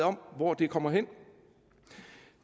om hvor det kommer hen